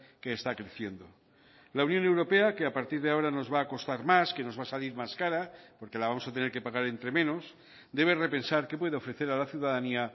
que está creciendo la unión europea que a partir de ahora nos va a costar más que nos va a salir más cara porque la vamos a tener que pagar entre menos debe repensar qué puede ofrecer a la ciudadanía